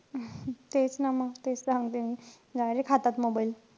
तेच ना म. तेच तर सांगतेय मी. Direct हातात mobile.